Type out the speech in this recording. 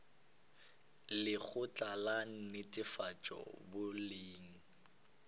le lekgotla la netefatšo boleng